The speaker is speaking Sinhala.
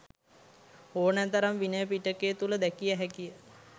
ඕනෑ තරම් විනය පිටකය තුළ දැකිය හැකි ය.